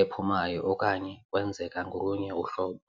ephumayo okanye kwenzeka ngolunye uhlobo.